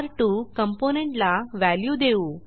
र2 component ला value देऊ